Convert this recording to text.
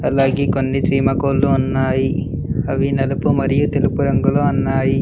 అలాగే కొన్ని చీమ కోళ్లు ఉన్నాయి అవి నలుపు మరియు తెలుపు రంగులో అన్నాయి.